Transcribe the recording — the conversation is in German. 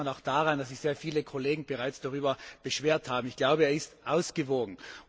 Das erkennt man auch daran, dass sich sehr viele Kollegen bereits darüber beschwert haben. Ich glaube, er ist ausgewogen.